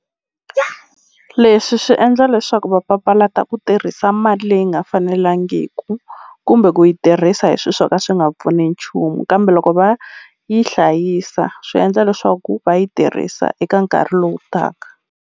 leswi swi endla leswaku va papalata ku tirhisa mali leyi nga fanelangiku kumbe ku yi tirhisa hi swi swo ka swi nga pfuni nchumu kambe loko va yi hlayisa swi endla leswaku va yi tirhisa eka nkarhi lowu taka.